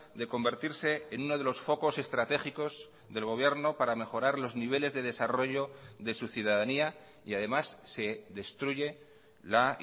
de convertirse en uno de los focos estratégicos del gobierno para mejorar los niveles de desarrollo de su ciudadanía y además se destruye la